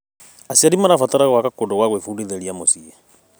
Aciari marabatara gwaka kũndũ gwa gwĩbundithĩria mũciĩ.